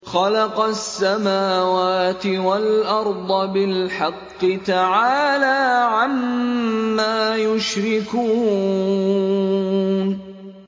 خَلَقَ السَّمَاوَاتِ وَالْأَرْضَ بِالْحَقِّ ۚ تَعَالَىٰ عَمَّا يُشْرِكُونَ